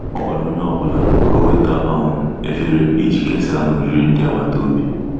Ọ gwara onye ọ bụla ka o weta um efere iji kesaa na oriri ndi agbata obi.